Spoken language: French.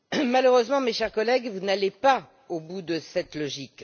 Malheureusement, mes chers collègues, vous n'allez pas au bout de cette logique.